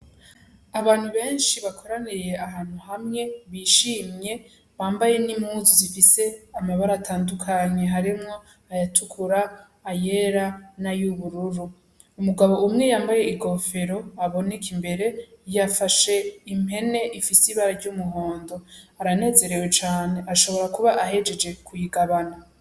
Abantu benshi bakoraniye ahantu hamwe bishimye bambaye n'impuzu zifise amabara atandukanye harimwo ayatukura ayera na y´ubururu, umugabo umwe yambaye ikofero aboneka imbere yafashe impene ifise ibara ry'umuhondo, aranezerewe cane ashobora kuba ahejeje kuyigabana.